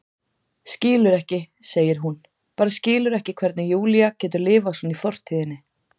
Skilur ekki, segir hún, bara skilur ekki hvernig Júlía getur lifað svona í fortíðinni.